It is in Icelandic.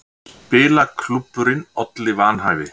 Spilaklúbburinn olli vanhæfi